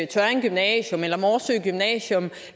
tørring gymnasium eller morsø gymnasium